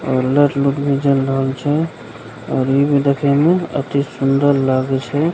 और लाइट -ऊठ भी जल रहल छै और इ भी देखे मे अति सुन्दर लागे छै।